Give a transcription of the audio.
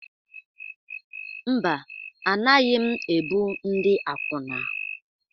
Mba, anaghị m ebu ndị akwụna.